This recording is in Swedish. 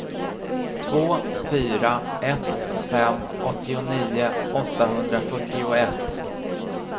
två fyra ett fem åttionio åttahundrafyrtioett